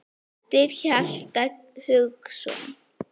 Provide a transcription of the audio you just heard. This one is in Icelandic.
eftir Hjalta Hugason